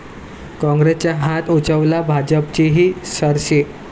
काँग्रेसचा हात उंचावला, भाजपचीही सरशी